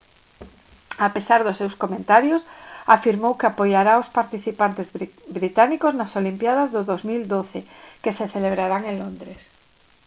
a pesar dos seus comentarios afirmou que apoiará aos participantes británicos nas olimpíadas do 2012 que se celebrarán en londres